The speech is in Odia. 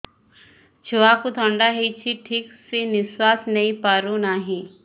ଛୁଆକୁ ଥଣ୍ଡା ହେଇଛି ଠିକ ସେ ନିଶ୍ୱାସ ନେଇ ପାରୁ ନାହିଁ